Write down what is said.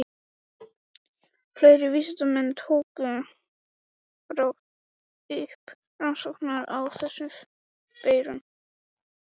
Fleiri vísindamenn tóku brátt upp rannsóknir á þessum veirum.